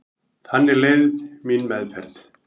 Þannig leið mín meðferð.